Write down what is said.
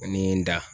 Ani n da